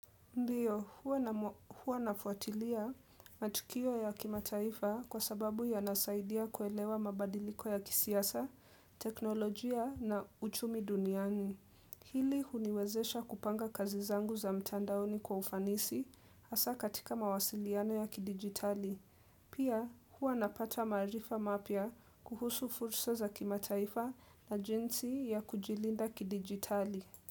Ndio, huwa nafuatilia matukio ya kimataifa kwa sababu ya nasaidia kuelewa mabadiliko ya kisiasa, teknolojia na uchumi duniani. Hili uniwezesha kupanga kazi zangu za mtandaoni kwa ufanisi hasa katika mawasiliano ya kidigitali. Pia, huwa napata marifa mapya kuhusu fursa za kimataifa na jinsi ya kujilinda kidigitali.